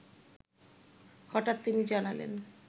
হঠাৎ তিনি জানালেন